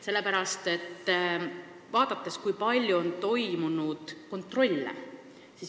Sellepärast, et ma vaatasin, kui palju on toimunud kontrolle.